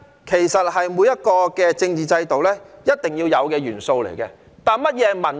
其實，民主是每個政治制度必定要有的元素，但甚麼是民主呢？